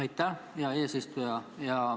Aitäh, hea eesistuja!